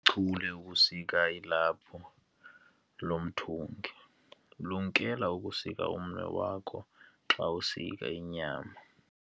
Lichule lokusika ilaphu lo mthungi. lumkela ukusika umnwe wakho xa usika inyama